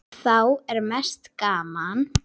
Þá er mest gaman.